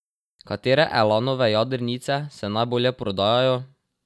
Katere Elanove jadrnice se najbolje prodajajo?